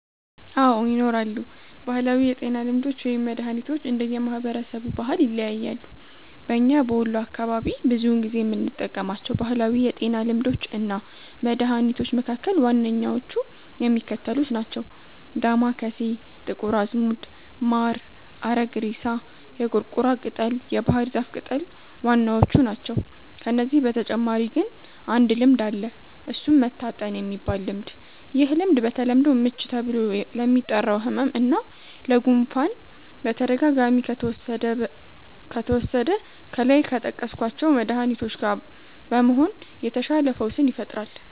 አዎ! ይኖራሉ። ባህላዊ የጤና ልምዶች ወይም መድሀኒቶች እንደየ ማህበረሰቡ ባህል ይለያያሉ። በኛ በወሎ አካባቢ ብዙውን ጊዜ የምንጠቀማቸው ባህላዊ የጤና ልምዶች እና መድሀኒቶች መካከል ዋነኛዎቹ የሚከተሉት ናቸው። ዳማከሴ፣ ጥቁር አዝሙድ፣ ማር፣ አረግሬሳ፣ የቁርቁራ ቅጠል፣ የባህር ዛፍ ቅጠል ዋናዎቹ ናቸው። ከነዚህ በተጨማሪ ግን አንድ ልምድ አለ እሱም "መታጠን"የሚባል ልምድ፤ ይህ ልምድ በተለምዶ "ምች" ተብሎ ለሚጠራው ህመም እና ለ"ጉፋን"በተደጋጋሚ ከተወሰደ ከላይ ከጠቀስኳቸው መድሀኒቶች ጋ በመሆን የተሻለ ፈውስን ይፈጥራል።